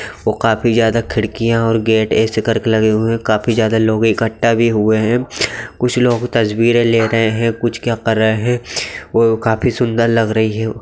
वो काफी ज्यादा खिड़कियां और गेट ऐसे करके लगे हुए है काफी ज़्यादा लोग इकठ्ठा भी हुए है कुछ लोग तस्बीरे ले रहे है कुछ क्या कर रहे वो काफी सुन्दर लग रही है ।